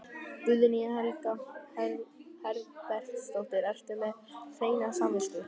Guðný Helga Herbertsdóttir: Ertu með hreina samvisku?